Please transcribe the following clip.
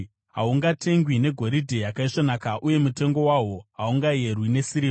Hahungatengwi negoridhe yakaisvonaka, uye mutengo wahwo haungayerwi nesirivha.